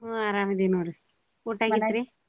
ಹ್ಮ್ ಅರಾಮ್ ಅದೀನ್ ನೋಡ್ರಿ ಊಟ ?